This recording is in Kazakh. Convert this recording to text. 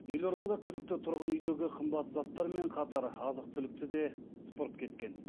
елордада күдікті тұрғын үйдегі қымбат заттармен қатар азық түлікті де сыпырып кеткен